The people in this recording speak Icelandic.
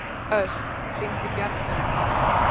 Ösp, hringdu í Bjarnharð.